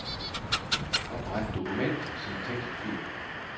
Opret dokument som tekstfil.